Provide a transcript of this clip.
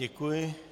Děkuji.